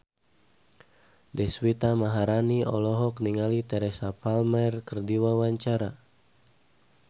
Deswita Maharani olohok ningali Teresa Palmer keur diwawancara